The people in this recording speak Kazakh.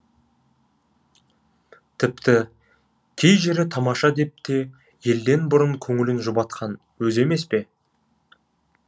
тіпті кей жері тамаша деп те елден бұрын көңілін жұбатқан өзі емес пе